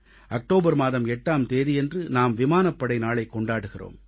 October மாதம் 8ஆம் தேதியன்று நாம் விமானப்படை நாளைக் கொண்டாடுகிறோம்